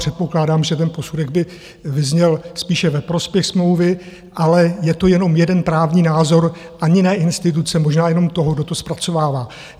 Předpokládám, že ten posudek by vyzněl spíše ve prospěch smlouvy, ale je to jenom jeden právní názor ani ne instituce, možná jenom toho, kdo to zpracovává.